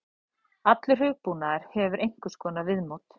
Allur hugbúnaður hefur einhvers konar viðmót.